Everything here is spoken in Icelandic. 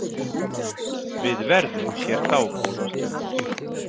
Við verðum hér dágóða stund.